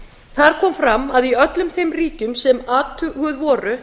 þar kom fram að í öllum þeim ríkjum sem athuguð voru